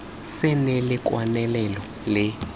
se nne le kwalelano le